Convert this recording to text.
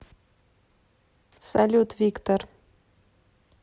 салют виктор